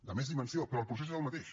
de més dimensió però el procés és el mateix